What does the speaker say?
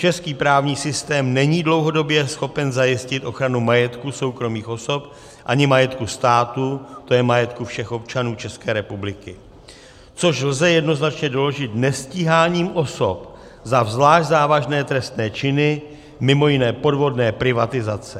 Český právní systém není dlouhodobě schopen zajistit ochranu majetku soukromých osob ani majetku státu, to je majetku všech občanů České republiky, což lze jednoznačně doložit nestíháním osob za zvlášť závažné trestné činy, mimo jiné podvodné privatizace.